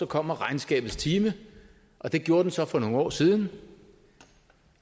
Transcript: kommer regnskabets time og det gjorde den så for nogle år siden